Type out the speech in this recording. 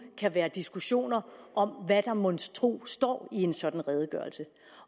kan være diskussioner om hvad der monstro står i en sådan redegørelse